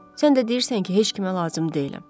Sən də deyirsən ki, heç kimə lazım deyiləm.